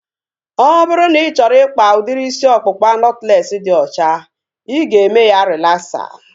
Ọ bụrụ na ị chọrọ ikpa udiri isi ọkpụkpa nọtlees dị ọcha, ị ga-eme ya relaksa